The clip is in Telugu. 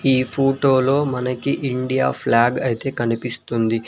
ఈ ఫోటోలో మనకి ఇండియా ఫ్లాగ్ అయితే కనిపిస్తుంది.